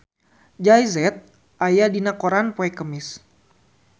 Jay Z aya dina koran poe Kemis